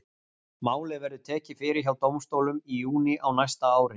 Málið verður tekið fyrir hjá dómstólum í júní á næsta ári.